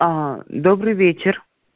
аа добрый вечер